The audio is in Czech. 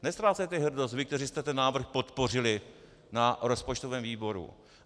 Neztrácejte hrdost vy, kteří jste ten návrh podpořili na rozpočtovém výboru.